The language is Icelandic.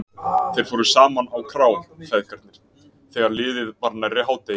Þeir fóru saman á krá, feðgarnir, þegar liðið var nærri hádegi.